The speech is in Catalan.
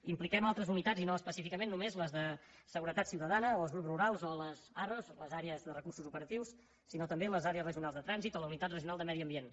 impliquem altres unitats i no específicament només les de seguretat ciutadana o els grups rurals o les arro les àrees de recursos operatius sinó també les àrees regionals de trànsit o la unitat regional de medi ambient